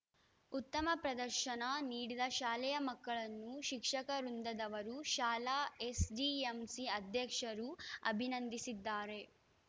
ಉತ್ತಮ ಪ್ರದರ್ಶನ ನೀಡಿದ ಶಾಲೆಯ ಮಕ್ಕಳನ್ನು ಶಿಕ್ಷಕ ವೃಂದದವರು ಶಾಲಾ ಎಸ್‌ಡಿಎಂಸಿ ಅಧ್ಯಕ್ಷರು ಅಭಿನಂದಿಸಿದ್ದಾರೆ